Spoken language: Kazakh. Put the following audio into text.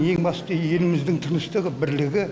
ең басты еліміздің тыныштығы бірлігі